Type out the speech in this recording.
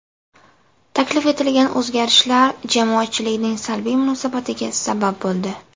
Taklif etilgan o‘zgarishlar jamoatchilikning salbiy munosabatiga sabab bo‘ldi.